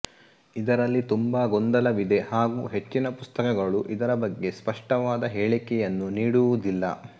ಇದರಲ್ಲಿ ತುಂಬಾ ಗೊಂದಲವಿದೆ ಹಾಗೂ ಹೆಚ್ಚಿನ ಪುಸ್ತಕಗಳು ಇದರ ಬಗ್ಗೆ ಸ್ಪಷ್ಟವಾದ ಹೇಳಿಕೆಯನ್ನು ನೀಡುವುದಿಲ್ಲ